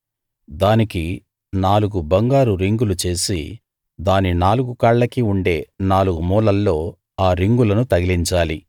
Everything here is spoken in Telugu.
దానికి నాలుగు బంగారు రింగులు చేసి దాని నాలుగు కాళ్లకి ఉండే నాలుగు మూలల్లో ఆ రింగులను తగిలించాలి